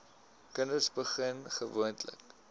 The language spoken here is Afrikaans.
kinders begin gewoonlik